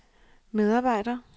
medarbejder